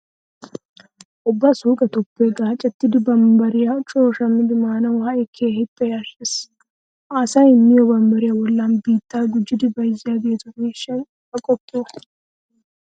Ubba suuqetuppe gaacettida bambbariya coo shammidi maanawu ha"i keehippe yashshees. Ha asay miyo bambbariya bollan biittaa gujjidi bayzziyageetu miishshay aqoppo!